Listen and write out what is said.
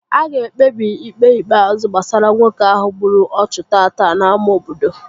A ga-ekpebi Ikpe ikpeazụ gbasara nwoke ahụ gburu ọchụ tata n'ámá obodo